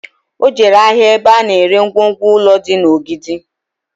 O jere ahịa ebe a na ere ngwongwo ụlọ dị na Ogidi